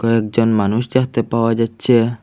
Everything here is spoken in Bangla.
একজন মানুষ দেখতে পাওয়া যাচ্ছে।